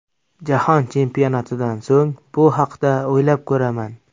Jahon Chempionatidan so‘ng bu haqda o‘ylab ko‘raman.